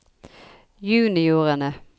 juniorene